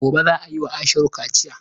Gobe za a yi wa Ashiru kaciya.